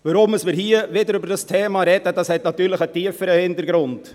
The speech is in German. Weshalb wir hier wieder über dieses Thema sprechen, hat natürlich einen tieferen Grund.